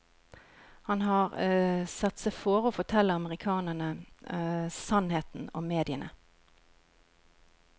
Han har satt seg fore å fortelle amerikanerne sannheten om mediene.